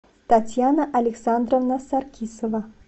татьяна александровна саркисова